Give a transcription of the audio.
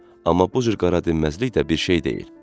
Amma bu cür qara dinməzlik də bir şey deyil.